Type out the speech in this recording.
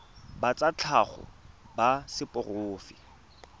ba tsa tlhago ba seporofe